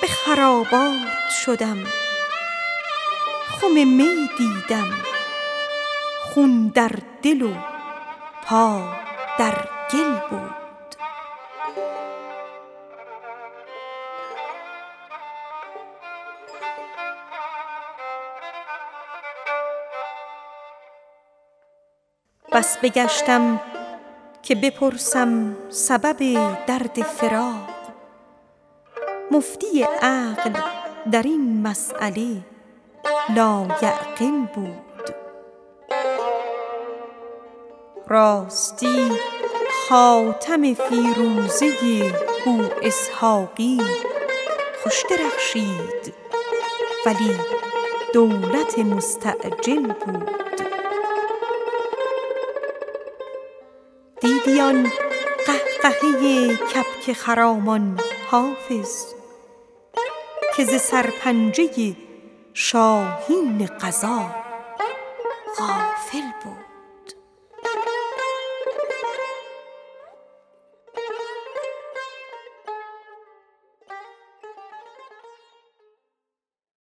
به خرابات شدم خم می دیدم خون در دل و پا در گل بود بس بگشتم که بپرسم سبب درد فراق مفتی عقل در این مسأله لایعقل بود راستی خاتم فیروزه بواسحاقی خوش درخشید ولی دولت مستعجل بود دیدی آن قهقهه کبک خرامان حافظ که ز سرپنجه شاهین قضا غافل بود